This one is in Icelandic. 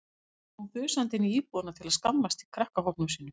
Svo fór hún þusandi inn í íbúðina til að skammast í krakkahópnum sínum.